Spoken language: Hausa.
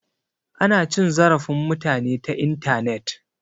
Ana cin zarafin mutane ta intanet